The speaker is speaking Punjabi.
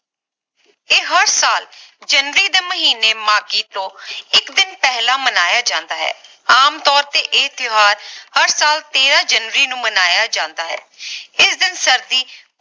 ਇਹ ਹਰ ਸਾਲ ਜਨਵਰੀ ਦੇ ਮਹੀਨੇ ਮਾਘੀ ਤੋਂ ਇਕ ਦਿਨ ਪਹਿਲਾਂ ਮਨਾਇਆ ਜਾਂਦਾ ਹੈ ਆਮ ਤੋਰ ਤੇ ਇਹ ਤਿਓਹਾਰ ਹਰ ਸਾਲ ਤੇਰਾਂ ਜਨਵਰੀ ਨੂੰ ਮਨਾਇਆ ਜਾਂਦਾ ਹੈ ਇਸ ਦਿਨ ਸਰਦੀ